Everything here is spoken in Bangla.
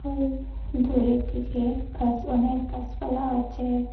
ওই দূরের দিকে গাছ অনেক গাছপালা আছে।